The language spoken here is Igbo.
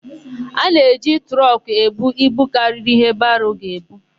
A na-eji trọkụ ebu ibu karịrị íhé baro ga-ebu.